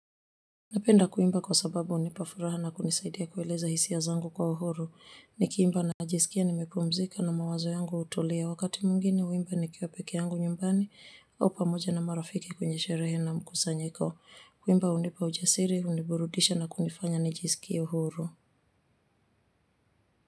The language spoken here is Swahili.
Napenda kuimba kwa sababu unipa furaha na kunisaidia kueleza hisia zangu kwa uhuru, nikiimba najisikia nimepumzika na mawazo yangu utulia, wakati mwingine uimba nikiwa peke yangu nyumbani au pamoja na marafiki kwenye sherehe na mkusanyiko, kuimba unipa ujasiri, uniburudisha na kunifanya nijisikie huru.